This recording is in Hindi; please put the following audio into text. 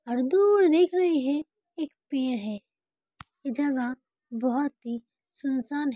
और दूर देख रहे हैं एक पेड़ है और जगह बहुत ही सुनसान है|